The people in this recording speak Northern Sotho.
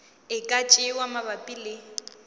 e ka tšewa mabapi le